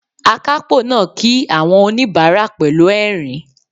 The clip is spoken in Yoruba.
Akápò náà kí àwọn oníbàárà pẹ̀lú ẹ̀rín